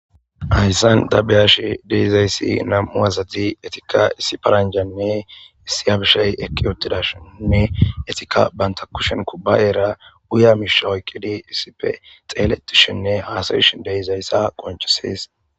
Hayssanta be7ashe dizayssi nam7u asati etika paranjanne issi abishey eqqi uttidashenne etika banta kushen kubbayeera guya miisha oyqidi issippee xeeletishinne haasayishe de7izayssa qonccesees.